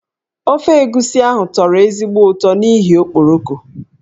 Ofe egusi ahụ tọrọ ezigbo ụtọ n'ihi okporoko.